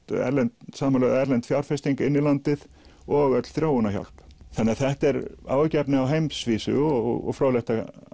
erlend samanlögð erlend fjárfesting inn í landið og öll þróunarhjálp þannig að þetta er áhyggjuefni á heimsvísu og fróðlegt